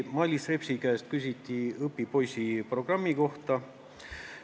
Mailis Repsi käest küsiti õpipoisiprogrammi kohta.